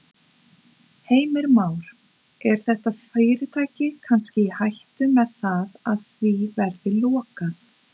Heimir Már: Er þetta fyrirtæki kannski í hættu með það að því verði lokað?